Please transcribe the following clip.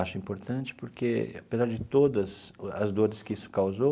Acho importante porque, apesar de todas as dores que isso causou,